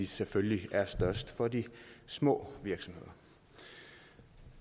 selvfølgelig er størst for de små virksomheder